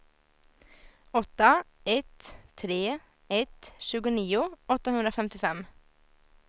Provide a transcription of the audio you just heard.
åtta ett tre ett tjugonio åttahundrafemtiofem